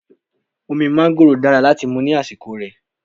Omi mángóròò dára láti mú ní àsìkò rè.